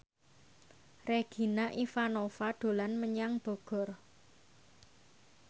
Regina Ivanova dolan menyang Bogor